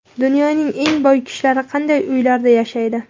Dunyoning eng boy kishilari qanday uylarda yashaydi?